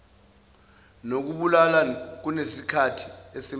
nokubulala kunesikhathi esimnandi